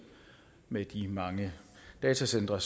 med de mange datacentre